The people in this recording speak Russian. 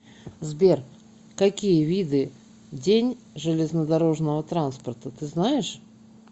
сбер какие виды день железнодорожного транспорта ты знаешь